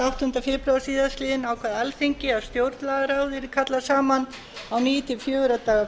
áttunda febrúar síðastliðnum ákvað alþingi að stjórnlagaráð yrði kallað saman á ný til fjögurra daga